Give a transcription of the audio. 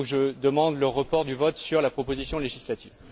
Je demande donc le report du vote sur la proposition législative.